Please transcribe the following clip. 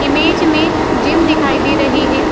Image मे gym दिखाई दे रही है।